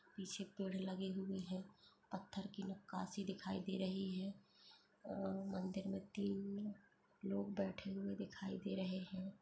पीछे पेड़ लगे हुए है पत्थर की नक्काशी दिखाई दे रही है अअ मंदिर में तीन लोग बैठे हुए दिखाई दे रहे हैं।